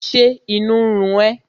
Ṣé inú ń run ẹ́?